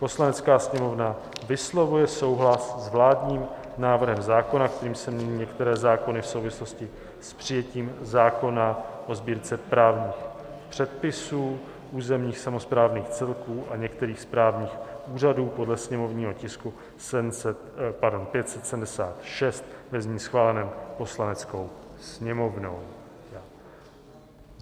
"Poslanecká sněmovna vyslovuje souhlas s vládním návrhem zákona, kterým se mění některé zákony v souvislosti s přijetím zákona o Sbírce právních předpisů územních samosprávných celků a některých správních úřadů, podle sněmovního tisku 576, ve znění schváleném Poslaneckou sněmovnou."